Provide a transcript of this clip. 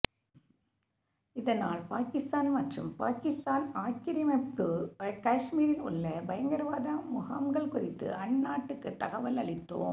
இதனால் பாகிஸ்தான் மற்றும் பாகிஸ்தான் ஆக்கிரமிப்பு காஷ்மீரில் உள்ள பயங்கரவாத முகாம்கள் குறித்து அந்நாட்டுக்கு தகவல் அளித்தோம்